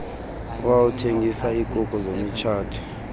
owawuthengisa ikuku zemitshato